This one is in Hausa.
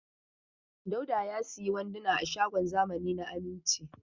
Dauda ya sayi wanduna a shagon zamani na Aminci.